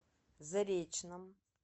заречном